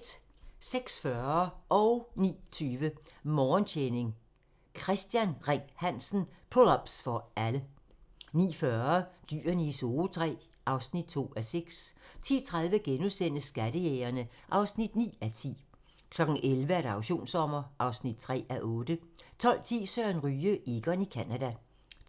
06:40: Morgentræning: Kristian Ring-Hansen - Pull ups for alle 09:20: Morgentræning: Kristian Ring-Hansen - Pull ups for alle 09:40: Dyrene i Zoo III (2:6) 10:30: Skattejægerne (9:10)* 11:00: Auktionssommer (3:8) 12:10: Søren Ryge: Egon i Canada